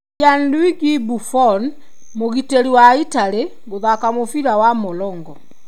Gianluigi Buffon, mũgitĩri wa Italy, gũthaka mũbira wa " morongo"